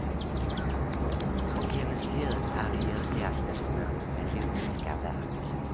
Och hennes ljud är de ljuvligaste små melodiska kvek.